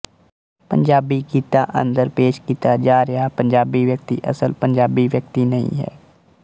ਪੰਜਾਬੀ ਗੀਤਾਂ ਅੰਦਰ ਪੇਸ਼ ਕੀਤਾ ਜਾ ਰਿਹਾ ਪੰਜਾਬੀ ਵਿਅਕਤੀ ਅਸਲ ਪੰਜਾਬੀ ਵਿਅਕਤੀ ਨਹੀਂ ਹੈ